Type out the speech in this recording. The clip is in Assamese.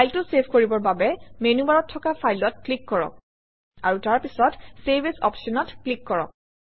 ফাইলটো চেভ কৰিবৰ বাবে মেনুবাৰত থকা File অত ক্লিক কৰক আৰু তাৰপিছত চেভ এএছ অপশ্যনত ক্লিক কৰক